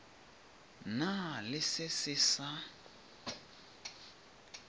na le se se sa